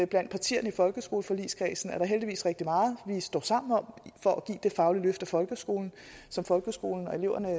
blandt partierne i folkeskoleforligskredsen der er heldigvis rigtig meget vi står sammen om for at give det faglige løft af folkeskolen som folkeskolen og eleverne har